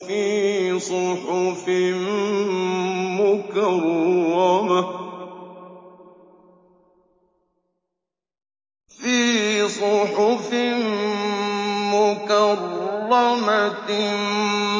فِي صُحُفٍ مُّكَرَّمَةٍ